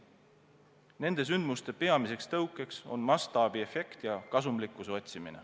Nende sündmuste peamised tõukajad on mastaabiefekt ja kasumlikkuse otsimine.